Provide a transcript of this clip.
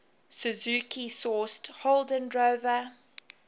suzuki sourced holden drover